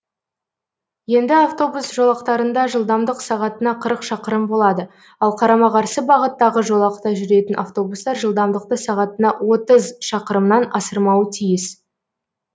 енді автобус жолақтарында жылдамдық сағатына қырық шақырым болады ал қарама қарсы бағыттағы жолақта жүретін автобустар жылдамдықты сағатына отыз шақырымнан асырмауы тиіс